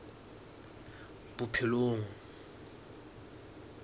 bophelong